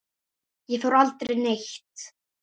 Ég fór aldrei neitt.